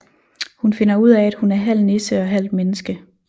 Hun finder ud af at hun er halv nisse og halvt menneske